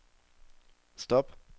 stop